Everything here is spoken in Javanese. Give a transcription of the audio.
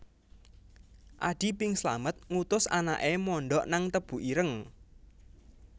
Adi Bing Slamet ngutus anake mondok nang Tebu Ireng